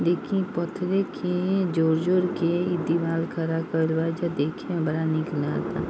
देखिए पतरे के जोर जोर के एक दीवार खड़ा कइल बा जो देखने में देखने पे बड़ा |